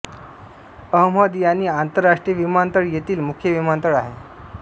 अहमद यानी आंतरराष्ट्रीय विमानतळ येथील मुख्य विमानतळ आहे